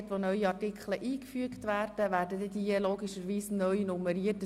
Wo neue Artikel eingefügt werden, ändert sich logischerweise die Nummerierung.